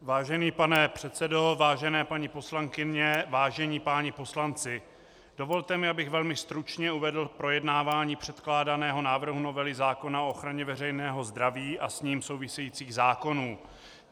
Vážený pane předsedo, vážené paní poslankyně, vážení páni poslanci, dovolte mi, abych velmi stručně uvedl projednávání předkládaného návrhu novely zákona o ochraně veřejného zdraví a s ním souvisejících zákonů.